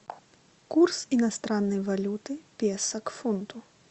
курс иностранной валюты песо к фунту